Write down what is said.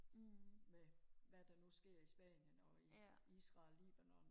med hvad der nu sker i spanien og i israel libanon